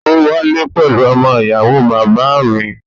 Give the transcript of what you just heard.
Ó wálé pẹ̀lú ọmọ ìyàwó bàbá à mi.